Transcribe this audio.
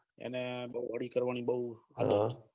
અને હળી કરવાની બહુ આદત છે